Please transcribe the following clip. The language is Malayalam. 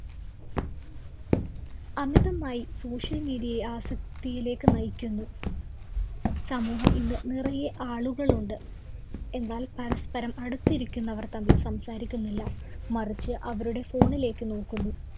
അമിതമായി social media യെ ആസക്തിയിലേക്ക് നയിക്കുന്നു. സമൂഹം ഇന്ന് നിറയെ ആളുകളുണ്ട്. എന്നാല്‍ പരസ്പരം അടുത്തിരിക്കുന്നവര്‍ തമ്മില്‍ സംസാരിക്കുന്നില്ല. മറിച്ച് അവരുടെ phone ലേക്ക് നോക്കുന്നു.